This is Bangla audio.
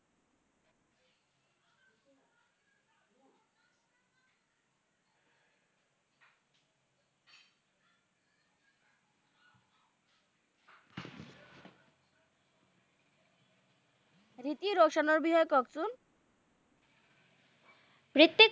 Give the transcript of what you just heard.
হ্রিত্তিক রশনের বিষয়ে কহেন তো হ্রিত্তিক